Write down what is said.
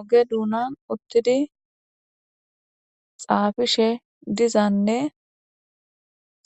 Oge duunan uttidi xaafishe dizanne